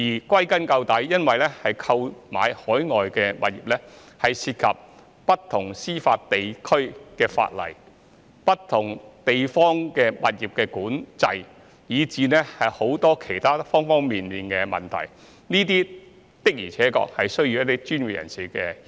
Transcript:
歸根究底，購買海外物業涉及不同司法地區的法例、物業管制，以至其他各方面的問題，這些的確需要專業人士協助。